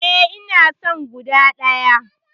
Eh, ina son guda ɗaya.